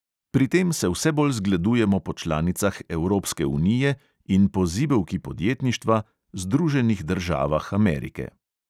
Pri tem se vse bolj zgledujemo po članicah evropske unije in po zibelki podjetništva – združenih državah amerike.